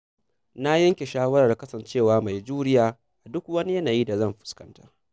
Na yanke shawarar kasancewa mai juriya a duk wani yanayi da zan fuskanta.